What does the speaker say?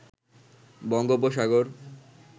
বঙ্গোপসাগর